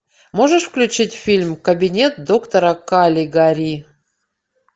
можешь включить фильм кабинет доктора калигари